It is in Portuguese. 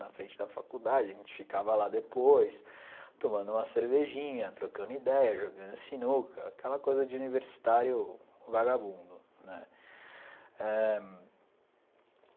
Na frente da faculdade, a gente ficava lá depois, tomando uma cervejinha, trocando ideia, jogando sinuca, aquela coisa de universitário vagabundo né ãh.